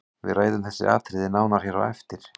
Við ræðum þessi atriði nánar hér á eftir.